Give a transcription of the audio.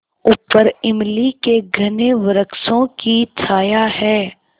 ऊपर इमली के घने वृक्षों की छाया है